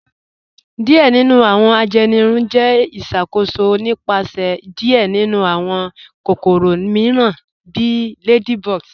Diẹ̀ nínu awọn ajẹ́nìrùn jẹ́ ìṣakóṣò nípasẹ̀ diẹ̀ nínu awọn kòkòrò míìràn bí ladybugs.